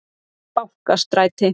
Bankastræti